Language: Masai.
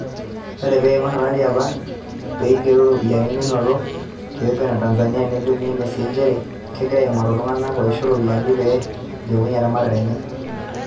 Ore pee eigeroo olari enaa peigeroo ropiyiani nanoto te Uganda o Tanzania nelimu NSE nchere kegira aingoru iltungana oisho iropiyiani peilepunye erematare enye.